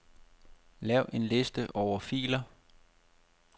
Lav en liste over filer.